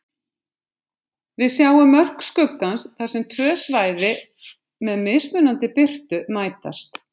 Við sjáum mörk skuggans þar sem tvö svæði með mismunandi birtu mætast.